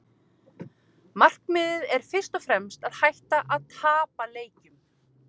Markmiðið er fyrst og fremst að hætta að tapa leikjum.